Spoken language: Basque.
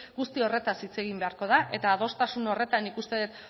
guzti horretaz hitz egin beharko da eta adostasun horretan nik uste dut